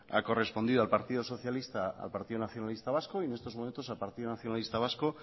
ha correspondido al partido socialista y al partido nacionalista vasco y en estos momentos al partido nacionalista vasco